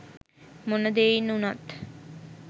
මොන දෙයින් උනත්